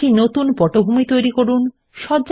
একটি নতুন পটভূমি তৈরি করুন